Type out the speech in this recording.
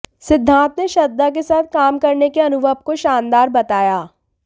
सिद्धांत ने श्रद्धा के साथ काम करने के अनुभव को शानदार बताया